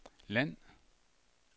land